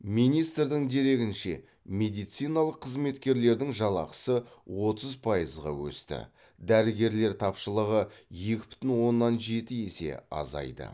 министрдің дерегінше медициналық қызметкерлердің жалақысы отыз пайызға өсті дәрігерлер тапшылығы екі бүтін оннан жеті есе азайды